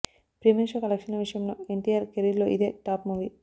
premier show కలెక్షన్ల విషయంలో ఎన్టీఆర్ కెరీర్లో ఇదే టాప్ మూవీ